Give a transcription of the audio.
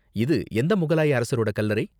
இது எந்த முகலாய அரசரோட கல்லறை?